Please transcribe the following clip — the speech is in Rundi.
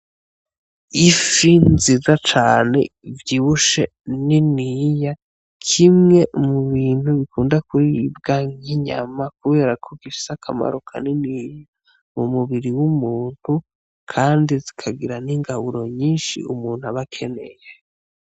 Ifi nziza cane ivyibushe niniya kimwe mu bintu bikunda kuribwa nk'inyama kubera ko gifise akamaro kanini mu mubiri w'umuntu kandi zikagira n’ingaburo nyinshi umuntu aba akeneye.